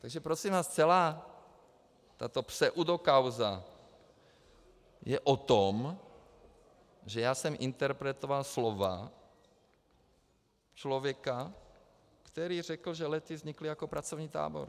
Takže prosím vás, celá tato pseudokauza je o tom, že já jsem interpretoval slova člověka, který řekl, že Lety vznikly jako pracovní tábor.